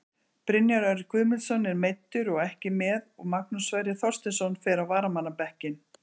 Brynjar Örn Guðmundsson er meiddur og ekki með og Magnús Sverrir Þorsteinsson fer á varamannabekkinn.